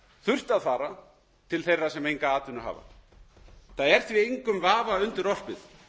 þurft að fara til þeirra sem enga atvinnu hafa það er því engum vafa undirorpið